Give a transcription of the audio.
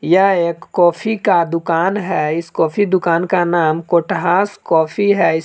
यह एक कॉफी का दुकान है इस कॉफी दुकान का नाम कोटहास काफी है--